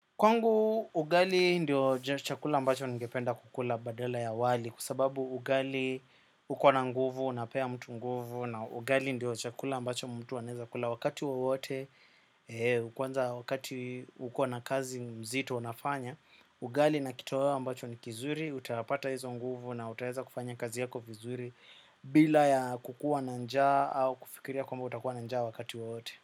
Kwangu, ugali ndio chakula ambacho ningependa kukula badala ya wali kwa sababu ugali uko na nguvu, unapea mtu nguvu na ugali ndio chakula ambacho mtu anaweza kula wakati wowote kwanza wakati uko na kazi mzito unafanya ugali na kitoeo ambacho ni kizuri, utapata hizo nguvu na utaweza kufanya kazi yako vizuri bila ya kukua na njaa au kufikiria kwamba utakuwa na nja wakati wowote.